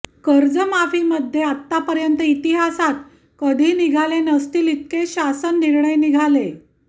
कर्जमाफीमध्ये आतापर्यंत इतिहासात कधी निघाले नसतील इतके शासन निर्णय निघाले